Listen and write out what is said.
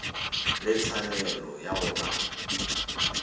le tshwanelo ya go ba